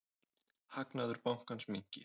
Hagnaður bankans minnki.